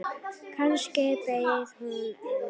Kannski beið hún enn.